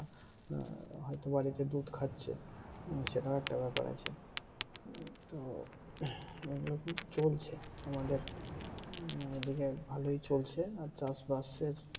হম হয়ত তারা বাড়িতে দুধ খাচ্ছে সেটাও একটা ব্যাপার আছে এইগুলো কিন্তু চলছে আমাদের এইদিকে ভালোই চলছে চাষ বাসের